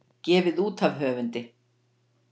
Gefið út af höfundi.